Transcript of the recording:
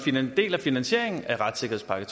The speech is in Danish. del af finansieringen af retssikkerhedspakke